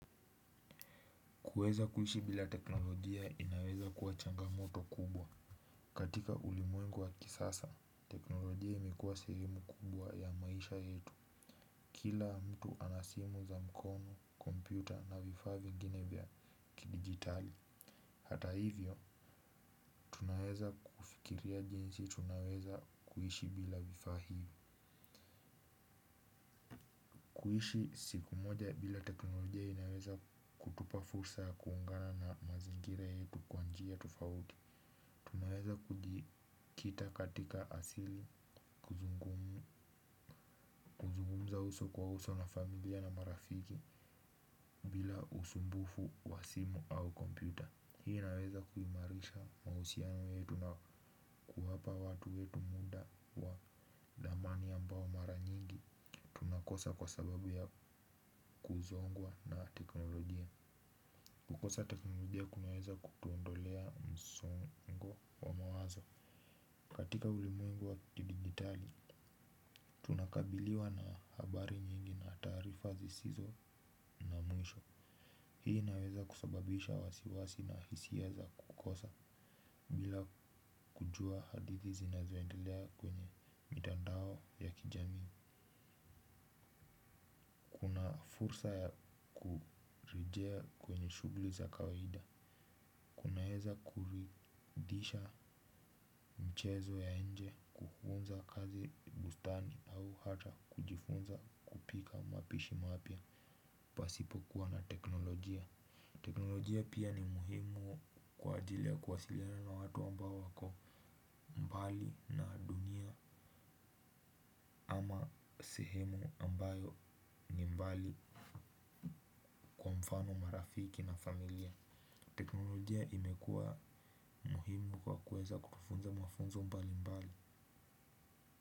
Kuweza kuishi bila teknolojia inaweza kuwa changamoto kubwa. Katika ulimwengu wa kisasa, teknolojia imekuwa sehemu kubwa ya maisha yetu. Kila mtu ana simu za mkono, kompyuta na vifaa vingine vya kidijitali. Hata hivyo, tunaweza kufikiria jinsi tunaweza kuishi bila vifaa hivyo. Kuishi siku moja bila teknolojia inaweza kutupa fursa kuungana na mazingira yetu kwa njia tufauti. Ninaweza kujikita katika asili kuzungummza uso kwa uso na familia na marafiki bila usumbufu wa simu au kompyuta. Hii inaweza kuimarisha mausiano yetu na kuwapa watu wetu muda wa dhamani ambao mara nyingi tunakosa kwa sababu ya kuzongwa na teknolojia. Kukosa teknolojia kunaweza kutuondolea msongo wa mawazo. Katika ulimwengu wa kudijitali unakabiliwa na habari nyingi na taarifa zisizo na mwisho hii inaweza kusababisha wasiwasi na hisia za kukosa. Bila kujua hadithi zinazoendelea kwenye mitandao ya kijami. Fursa ya kurejea kwenye shughli za kawaida. Unaweza kuridhisha mchezo ya inje kuunza kazi bustani au hata kujifunza kupika mapishi mapya pasipokuwa na teknolojia. Teknolojia pia ni muhimu kwa ajili ya kuwasiliana na watu ambao wako mbali na dunia. Sehemu ambayo ni mbali mfano marafiki na familia. Teknolojia imekua muhimu kwa kuweza kutufunza mafunzo mbali mbali.